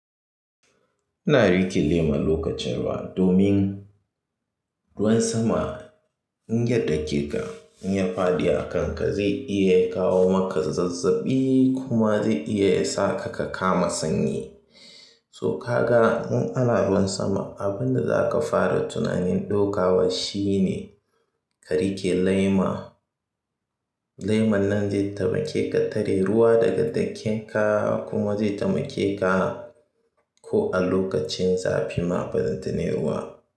Ina riƙe lema lokacin ruwa domin ruwan sama in ya dake ka, in ya faɗi a kanka, zai iya kawo maka zazzaɓi kuma zai iya sa ka kama sanyi. So ka ga in ana ruwan sama, abin da za ka fara tunanin ɗaukawa shine, ka riƙe lema. Leman nan zai taimake ka tare ruwa daga ɗakinka kuma zai taimake ka ko a lokacin zafi ma balanta ne ruwa.